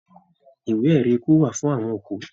Ìwé erí ikú wá fún àwọn òkú.